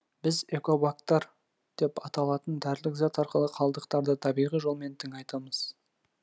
біз экобактор деп аталатын дәрілік зат арқылы қалдықтарды табиғи жолмен тыңайтамыз